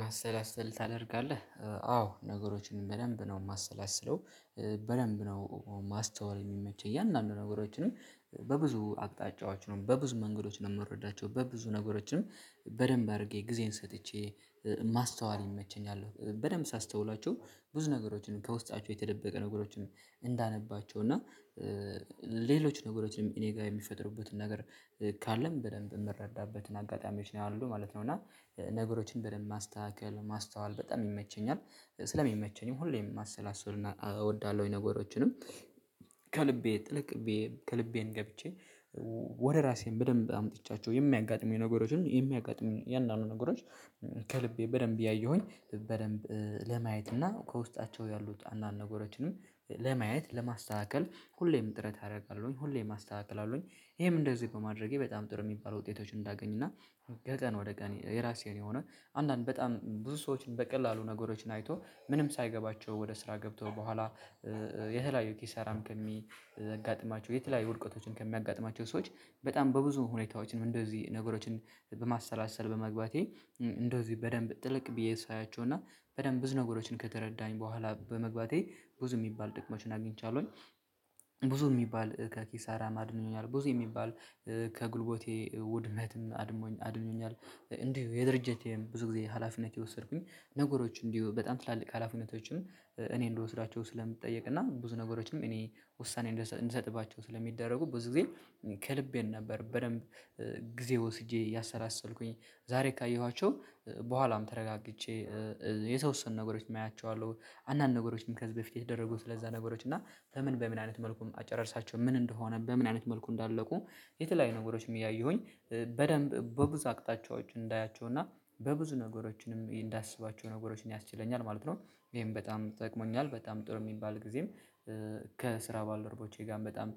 ማሰላሰል ታደርጋለህ አዎ ነገሮችን በደንብ ነው የማሰላስለው በደንብ ነው የማስተዋል የሚመቸኝ እያንዳንዱ ነገሮችን በብዙ አቅጣጫዎች ነው በብዙ መንገዶች ነው የምረዳቸው። በደንብ አድርጌ ጊዜየን ሰጥቼ ማስተዋል ይመቸኛል በደንብ ሳስተውላችሁ ብዙ ነገሮችን ከውስጣችሁ የተደበቀ ነገሮችን እንዳነባቸው እና ሌሎች ነገሮችንም እኔ ጋር የሚፈጥርበትን ነገር ካለን በደንብ የምረዳበትን አጋጣሚዎች ነው ያሉት ማለት ነው። እና ነገሮችን በደንብ ማስተካከል ማስተዋል በጣም ይመቸኛል ስለሚመቸኝም ሁሌም ማሰላሰል እወዳለሁኝ። ነገሮችንም ከልቤ ትልቅቤ ከልቤ ገብቼ ወደ ራሴን በደንብ አምጥቻቸው የሚያጋጥሙ የነገሮችን የሚያጋጥሙ የአንዳንድ ነገሮች ከልቤ በደንብ እያየሁኝ በደንብ ለማየት እና ከውስጣቸው ያሉት አንዳንድ ነገሮችንም ለማየት ለማስተካከል ሁሌም ጥረት አደርጋለሁኝ ሁሌም አስተካክላለሁኝ። ይሄም እንደዚህ በማድረጌ በጣም ጥሩ የሚባል ውጤቶችን እንዳገኝና ወደ ቀን ወደ ቀን የራሴን የሆነ አንዳንድ በጣም ብዙ ሰዎችን በቀላሉ ነገሮችን አይቶ ምንም ሳይገባቸው ወደ ስራ ገብተው በኋላ የተለያዩ ኪሳራም ከሚያጋጥማቸው የተለያዩ ውድቀቶችን ከሚያጋጥማቸው ሰዎች በጣም በብዙ ሁኔታዎችንም እንደዚህ ነገሮችን በማሰላሰል በመግባቴ እንደዚህ በደንብ ጥልቅ ብዬ ሳያቸው እና በደንብ ብዙ ነገሮችን ከተረዳኝ በኋላ በመግባቴ ብዙ የሚባል ጥቅሞችን አግኝቻለሁኝ። ብዙ ሚባል ከኪሳራ አድኖኛል ብዙ የሚባል ከጉልበቴ ውድቀትም አድሞኝ አድኖኛል። እንዲሁ የድርጅቴም ብዙ ጊዜ ሀላፊነት የወሰድኩኝ ነገሮች እንዲሁ በጣም ትላልቅ ሀላፊነቶችም እኔ እንድወስዳቸው ስለምጠየቅ እና ብዙ ነገሮችም እኔ ውሳኔ እንድሰጥባቸው ስለሚደረጉ ብዙ ጊዜ ከልቤ ነበር በደንብ። ጊዜ ወስጄ እያሰላሰልኩኝ ዛሬ ካየኋቸው በኋላም ተረጋግቼ የተወሰኑት ነገሮችን አያቸዋለው አንዳንድ ነገሮችን ከዚህ በፊት የተደረጉ ስለዛ ነገሮች እና በምን በምን አይነት መልኩን አጨረርሳቸው ምን እንደሆነ በምን አይነት መልኩ እንዳለቁ የተለያዩ ነገሮችም እያየሁኝ በደንብ በብዙ አቅጣጫዎች እንዳያቸው እና በብዙ ነገሮችንም እንዳስባቸው ነገሮችን ያስችለኛል ማለት ነው። ይሄን በጣም ጠቅሞኛል በጣም ጥሩ የሚባል ጊዜም ከስራ ባልደርቦቼ ጋር በጣም